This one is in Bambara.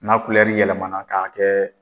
N'a kulɛri yɛlɛmana k'a kɛ